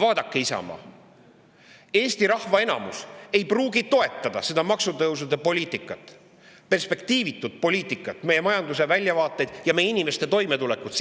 Vaadake, Isamaa, Eesti rahva enamus ei pruugi toetada maksutõusude poliitikat, perspektiivitut poliitikat, silmas pidades meie majanduse väljavaateid ja meie inimeste toimetulekut,